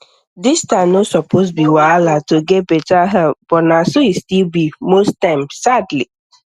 distance no suppose be wahala to get better health but na so e still be most times sadly